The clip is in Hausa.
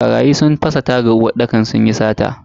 Barayi sun fasa tagan uwarɗakar sunyi sata.